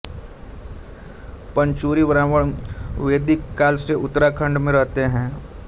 पंचुरी ब्राह्मण वेदिक काल से उत्तराखंड में रहते हैं